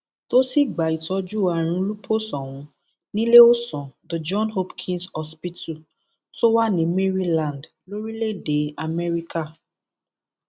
tó sì gba ìtọjú ààrùn lupus ọhún níléeọsán the john hopkins hospital tó wà ní maryland lórílẹèdè amẹríkà